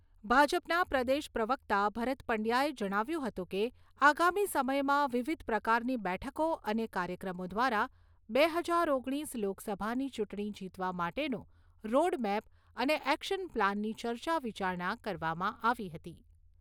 ભાજપના પ્રદેશ પ્રવક્તા ભરત પંડ્યાએ જણાવ્યું હતું કે આગામી સમયમાં વિવિધ પ્રકારની બેઠકો અને કાર્યક્રમો દ્વારા બે હજાર ઓગણીસ લોકસભાની ચૂંટણી જીતવા માટેનો "રોડમેપ" અને "એકશન પ્લાન''ની ચર્ચા વિચારણા કરવામાં આવી હતી.